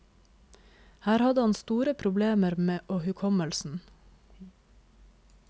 Her hadde han store problemer med å hukommelsen.